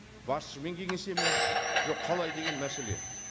басшымен кеңеседі ме жоқ қалай деген мәселе